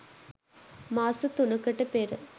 මාස තුනකට පෙර